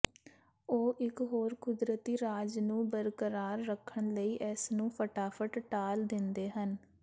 ਉਹ ਇਕ ਹੋਰ ਕੁਦਰਤੀ ਰਾਜ ਨੂੰ ਬਰਕਰਾਰ ਰੱਖਣ ਲਈ ਇਸ ਨੂੰ ਫਟਾਫਟ ਟਾਲ ਦਿੰਦੇ ਹਨ